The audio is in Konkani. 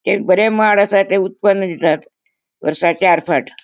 ते बोरे माड असा ते उत्पन्न दितात वरसाक चार फाट --